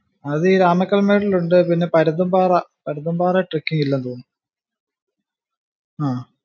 അത് ഈ രാമക്കൽ മേട്ടിലുണ്ട്, പിന്നെ Parunthumpara, Parunthumpara trekking ഇല്ലെന്നു തോന്നുന്നു. ആഹ്